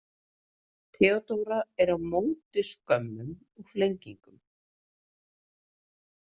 Theodóra er á móti skömmum og flengingum.